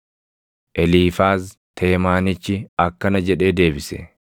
Eliifaaz Teemaanichi akkana jedhee deebise: